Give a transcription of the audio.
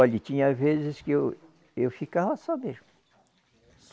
Olhe, tinha vezes que eu, eu ficava só mesmo.